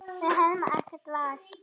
Við höfum ekkert val.